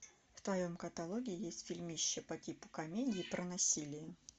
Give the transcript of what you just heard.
в твоем каталоге есть фильмище по типу комедии про насилие